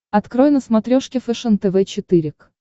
открой на смотрешке фэшен тв четыре к